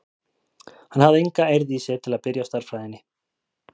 Hann hafði enga eirð í sér til að byrja á stærðfræðinni.